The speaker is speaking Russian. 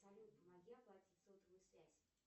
салют помоги оплатить сотовую связь